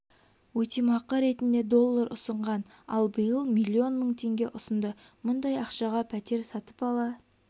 өтемақы ретінде доллар ұсынған ал биыл миллион мың теңге ұсынды мұндай ақшаға пәтер сатып ала